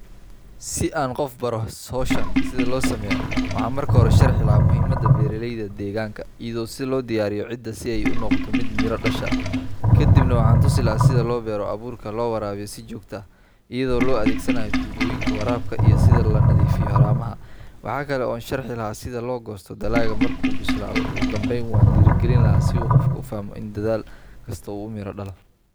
Si aan qof baro sida hawshan loo sameeyo, waxaan marka hore sharxi lahaa muhiimada beeralayda deegaanka iyo sida loo diyaariyo ciidda si ay u noqoto mid miro dhasha. Kadibna waxaan tusi lahaa sida loo beero abuurka, loo waraabiyo si joogto ah iyadoo la adeegsanayo tuubooyinka waraabka, iyo sida loo nadiifiyo haramaha. Waxa kale oo aan sharxi lahaa sida loo goosto dalagga marka uu bislaado. Ugu dambeyn, waan dhiirigelin lahaa si uu qofka u fahmo in dadaal kasta uu miro dhalo.